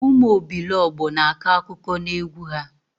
Ụmụ obilogbo na-akọ akụkọ na egwu ha